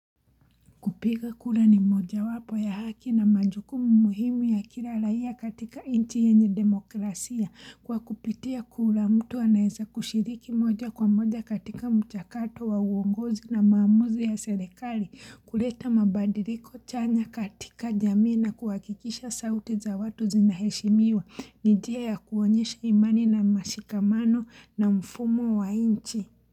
Kupiga kule ni moja wapo ya haki na majukumu muhimu ya kila raia katika nchi yenye demokrasia kwa kupitia kura mtu anaeza kushiriki moja kwa moja katika mchakato wa uongozi na maamuzi ya serikali kuleta mabadiliko chanya katika jamii na kuhakikisha sauti za watu zinaheshimiwa ni njia ya kuonyesha imani na mashikamano na mfumo wa nchi.